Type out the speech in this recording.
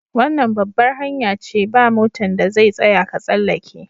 Wannan babbar hanya ce, ba' motan da zai tsaya ka tsallake.